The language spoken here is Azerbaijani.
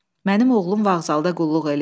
Mənim oğlum vağzalda qulluq eləyir.